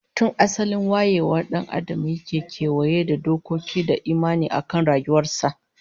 Tun asalin wayewar dan Adam yake kewaye da dokoki da imani akan rayuwar sa